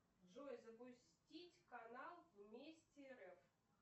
джой запустить канал вместе рф